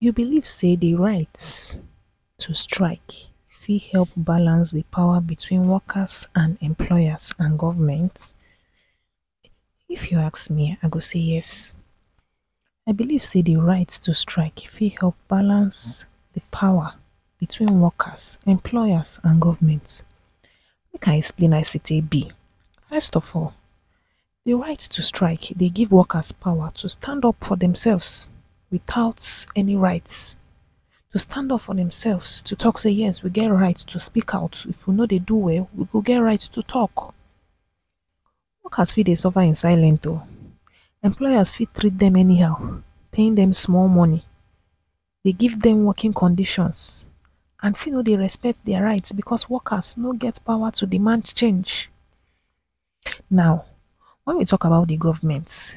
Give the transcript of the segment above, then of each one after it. You believe say de right to strike fit help balance de power between workers and employers and government? If you ask me I go say yes, I believe say de right to strike, e fit help balance de power between workers. Employers and governments. Make I explain as e take be, first of all, de right to strike dey give works power to stand up from demselves without any rights, to stand up for demselves to talk say “yes! We get right to speak out, if we no dey do well we go get right to talk” workers fit dey suffer in silent o! employers fit treat them anyhow, paying dem small money, dey give dem working conditions, and fit no dey respect their rights because workers no get power to demand to change. Now wen we talk about de government,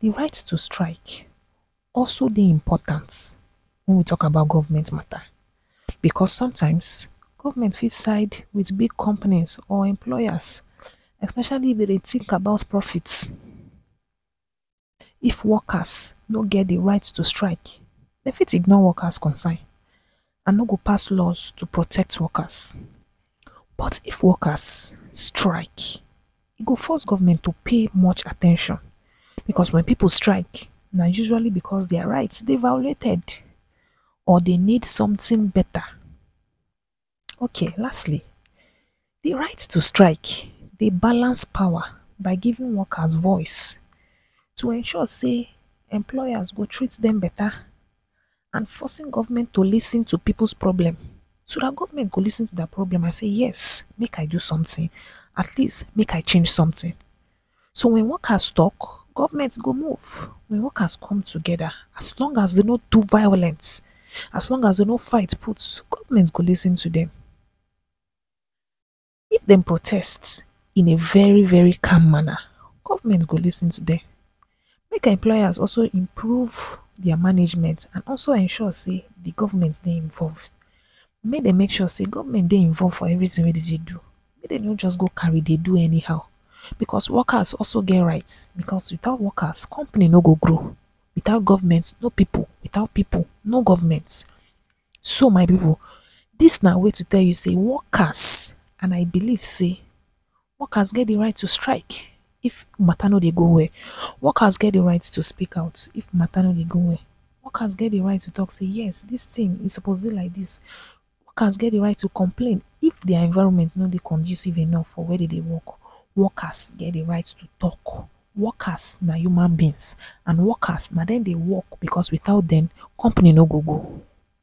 de right to strike also dey important, when we talk about government matter, because sometimes government fit sides wit big companies or employers, especially if dey dey think about profits. If workers no get the right to strike, dem fit ignore workers concern, and no go pass laws to protect workers but if workers strike, e go force government to pay more at ten tion, because when people strike na usually because their rights dey violated or dey need something better. Okay lastly de right to strike dey balance power by giving workers voice to ensure say employers go treat dem beta and forcing government to lis ten to pipu’s problem, so dat government go lis ten to their problem and say “yes! Make I do something, at least make I change something” so when workers talk government go move, wen workers come together, as long as they no do violence, as long as say dey no fight put, government go lis ten to dem. If dem protest, in a very-very calm manner, government go lis ten to dem. Make employers also improve their management and also ensure say the government dey involve. Make dem make sure say government dey involve for everything way dey dey do, make dem no just go carry dey do anyhow, because workers also get right, becos witout workers company no go grow. Witout government no people without people no government, so my people this na way to tell you say workers…… and I believe say workers get de right to strike, if mata no dey go well. Workers get de right to speak out if mata no dey go well, workers get de right to talk say “yes, dis thing e supposed dey like dis” workers get de right to complain if their environment no dey conducive enough for where dey dey work. Workers get the right to talk, workers no human beings and workers na dem dey work because without dem companies no go go